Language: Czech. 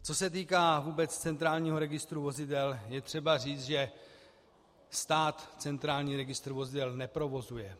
Co se týká vůbec Centrálního registru vozidel, je třeba říct, že stát Centrální registr vozidel neprovozuje.